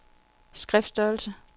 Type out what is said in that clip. skriftstørrelse